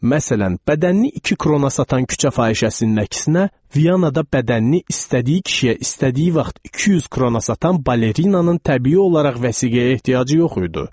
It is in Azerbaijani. Məsələn, bədənini iki krona satan küçə fahişəsinin əksinə Vyanada bədənini istədiyi kişiyə istədiyi vaxt 200 krona satan balerinanın təbii olaraq vəsiqəyə ehtiyacı yox idi.